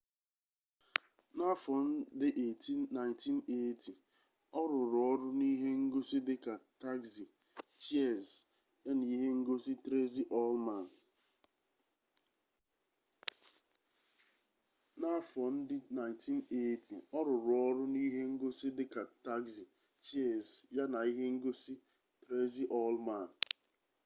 n'afọ ndị 1980 ọ rụrụ ọrụ n'ihe ngosi dị ka tagzi cheers ya na ihe ngosi tresi ullman